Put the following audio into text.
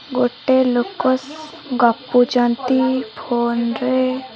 ଗୋଟେ ଲୋକସ ଗପୁଚନ୍ତି ଫୋନ ରେ।